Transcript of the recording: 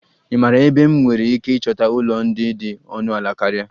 Ị maara ebe m nwere ike ịchọta ụlọ ndị dị ọnụ ala karịa?